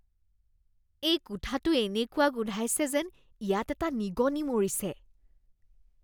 এই কোঠাটো এনেকুৱা গোন্ধাইছে যেন ইয়াত এটা নিগনী মৰিছে৷